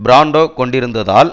Brando கொண்டிருந்ததால்